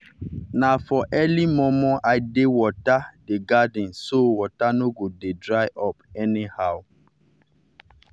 na for early momo i dey water the garden so water no go dey dry up anyhow.